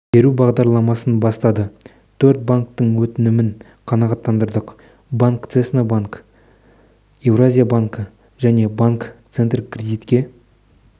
беру бағдарламасын бастады төрт банктің өтінімін қанағаттандырдық банк цеснабанк еуразия банкі және банк центр кредитке